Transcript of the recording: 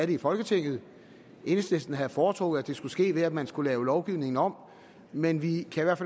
det i folketinget enhedslisten havde foretrukket at det skulle ske ved at man skulle lave lovgivningen om men vi kan i hvert